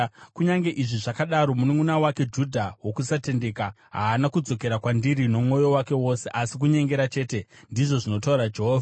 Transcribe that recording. Kunyange izvi zvakadaro, mununʼuna wake Judha wokusatendeka haana kudzokera kwandiri nomwoyo wake wose, asi kunyengera chete,” ndizvo zvinotaura Jehovha.